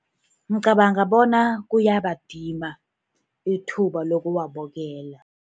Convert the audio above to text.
Ngicabanga bona kuyabadima ithuba lokuwabukela.